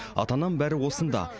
ата анам бәрі осында